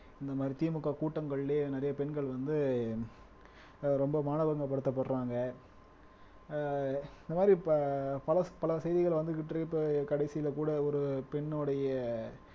இந்த மாதிரி திமுக கூட்டங்களிலேயே நிறைய பெண்கள் வந்து ரொம்ப மானபங்கப்படுத்தப்படுறாங்க. ஆஹ் இந்த மாதிரி ப பல பல செய்திகள் வந்துகிட்டு இருக்கு இப்ப கடைசியில கூட ஒரு பெண்ணுடைய